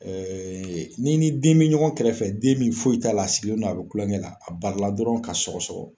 n'i ni den bɛ ɲɔgɔn kɛrɛfɛ den min foyi t'a la a sigilen no a bɛ kulonkɛ la a bali la dɔrɔn ka sɔgɔ sɔgɔ